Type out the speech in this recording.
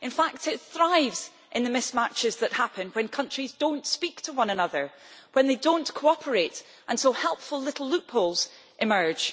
In fact it thrives in the mismatches that happen when countries do not speak to one another, when they do not cooperate and so helpful little loopholes emerge.